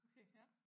Okay ja